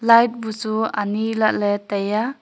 light buchu ani lahley taiya.